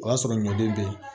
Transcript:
O y'a sɔrɔ ɲɔden be